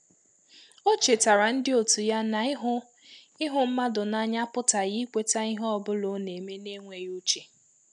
Ọ chetaara ndị òtù ya na ịhụ ịhụ mmadụ n’anya apụtaghị ikweta ihe ọ bụla ọ na-eme n’enweghị uche.